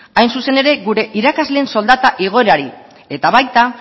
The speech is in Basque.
hain zuzen ere gure irakasleen soldata igoerari eta baita